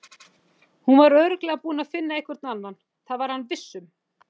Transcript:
Hún var örugglega búin að finna einhvern annan, það var hann viss um.